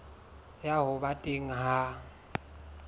ya ho ba teng ha